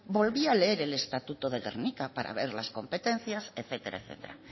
volví a leer el estatuto de gernika para ver las competencias etcétera etcétera